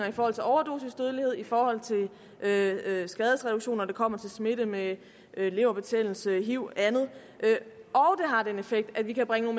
i forhold til overdosisdødelighed i forhold til skadesreduktion når det kommer til smitte med leverbetændelse hiv eller andet og det har den effekt at vi kan bringe